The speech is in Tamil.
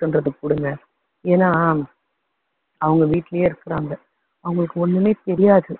பண்றதை கொடுங்க. ஏன்னா அவங்க வீட்டுலேயே இருக்காறாங்க. அவங்களுக்கு ஒண்ணுமே தெரியாது.